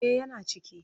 Eh yana ciki.